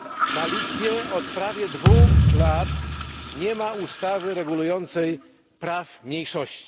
Na Litwie od prawie dwóch lat nie ma ustawy regulującej prawa mniejszości.